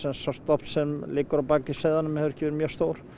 sá stofn sem liggur að baki seiðunum hefur ekki verið mjög stór